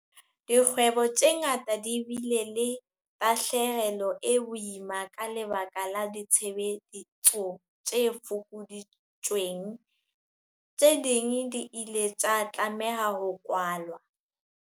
Dikgwebo tse ngata di bile le tahlehelo e boima ka lebaka la ditshebetso tse fokoditsweng. Tse ding di ile tsa tlameha ho kwalwa.